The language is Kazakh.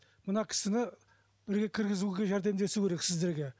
мына кісіні бірге кіргізуге жәрдемдесу керек сіздерге